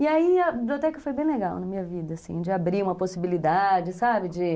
E aí a biblioteca foi bem legal na minha vida, assim, de abrir uma possibilidade, sabe, de